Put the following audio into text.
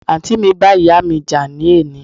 Àǹtì mi bá ìyáà mi jà ní òní